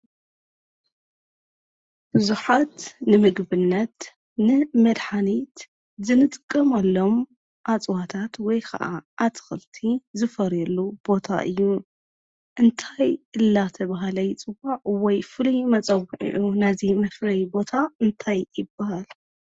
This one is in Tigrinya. ብዙሓት ንምግብነት፣ ንመድሓኒት ዝንጥቀመሎም እፅዋታት ወይ ኸዓ ኣትኽልቲ ዝፈርየሉ ቦታ እዩ፡፡ እንታይ እናተባህለ ይፅዋዕ ወይ ፍሉይ መፀውዒኡ ናይዚ መፍረዪ ቦታ እንታይ ይበሃል?